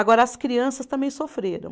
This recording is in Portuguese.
Agora, as crianças também sofreram.